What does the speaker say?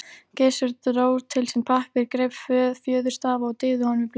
Gizur dró til sín pappír, greip fjöðurstaf og dýfði honum í blek.